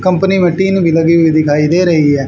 Company मे tin भी लगी हुई दिखाई दे रही है।